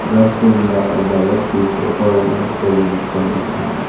ರಸ್ತೆಯಿಂದ ಒಬ್ಬ ವ್ಯಕ್ತಿ ಫೋಟೋ ವನ್ನು ತೆಗೆದಿಕೊಂಡಿದ್ದಾನೆ.